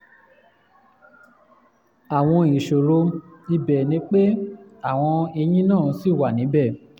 àmọ́ ìṣòro ibẹ̀ ni pé àwọn eyín náà ṣì wà níbẹ̀